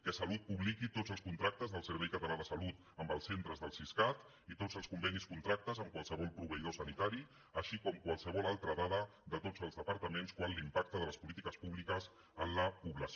que salut publiqui tots els contractes del servei català de la salut amb els centres del siscat i tots els convenis contractes amb qualsevol proveïdor sanitari així com qualsevol altra dada de tots els departaments quant a l’impacte de les polítiques publiques en la població